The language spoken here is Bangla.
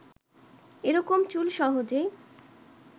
এরকম চুল সহজেই